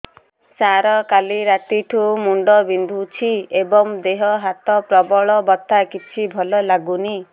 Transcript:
ସାର କାଲି ରାତିଠୁ ମୁଣ୍ଡ ବିନ୍ଧୁଛି ଏବଂ ଦେହ ହାତ ପ୍ରବଳ ବଥା କିଛି ଭଲ ଲାଗୁନି